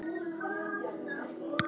eftir Pál Marvin Jónsson